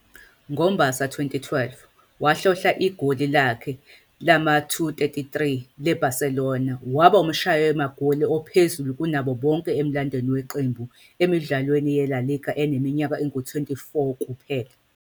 NgoMbasa 2012, wahlohla igoli lakhe lama-233 le-Barcelona, waba umshayi magoli ophezulu kunabo bonke emlandweni weqembu emidlalweni yeLa Liga eneminyaka engu-24 kuphela.